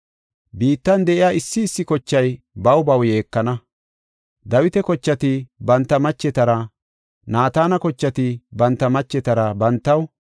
Biittan de7iya issi issi kochay baw baw yeekana; Dawita kochati banta machetara, Naatana kochati banta machetara bantaw,